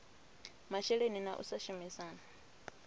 masheleni na u sa shumisana